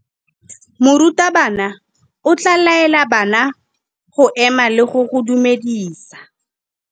Morutabana o tla laela bana go ema le go go dumedisa.